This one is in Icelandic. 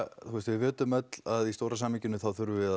við vitum öll að í stóra samhenginu þurfum við